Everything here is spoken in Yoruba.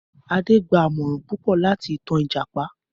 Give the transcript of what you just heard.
Adé gba àmòràn púpọ̀ láti ìtan Ìjàpá.